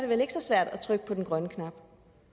vel ikke så svært at trykke på den grønne knap